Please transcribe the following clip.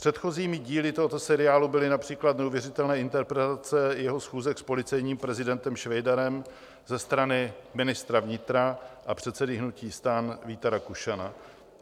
Předchozími díly tohoto seriálu byly například neuvěřitelné interpretace jeho schůzek s policejním prezidentem Švejdarem ze strany ministra vnitra a předsedy hnutí STAN Víta Rakušana.